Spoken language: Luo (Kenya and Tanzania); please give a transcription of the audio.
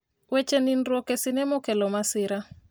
weche nindruok e sinema okelo masira